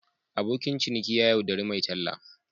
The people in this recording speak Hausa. Abokin ciniki ya yaudari mai talla.